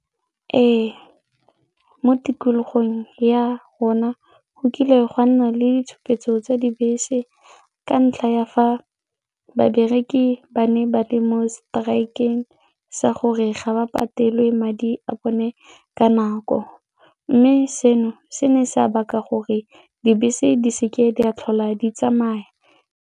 Ee, mo tikologong ya rona go kile gwa nna le ditshupetso tsa dibese ka ntlha ya fa babereki ba ne ba le strike-eng sa gore ga ba patelwe madi a bone ka nako mme seno se ne sa baka gore dibese di seke di a tlhola di tsamaya.